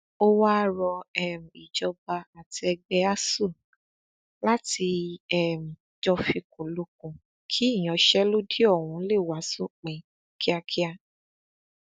ó wáá rọ um ìjọba àti ẹgbẹ asuu láti um jó fikùnlukùn kí ìyanṣẹlódì ọhún lè wá sópin kíákíá